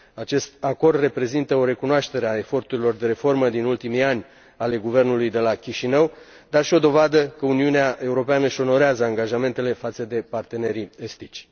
Acest acord reprezintă o recunoaștere a eforturilor de reformă din ultimii ani ale guvernului de la Chișinău, dar și o dovadă că Uniunea Europeană își onorează angajamentele față de partenerii estici.